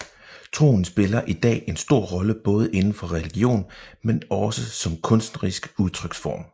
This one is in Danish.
Troen spiller i dag en stor rolle både indenfor religion men også som kunstnerisk udtryksform